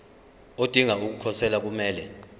odinga ukukhosela kumele